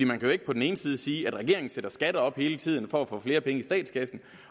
man kan jo ikke på den ene side sige at regeringen sætter skatter op hele tiden for at få flere penge i statskassen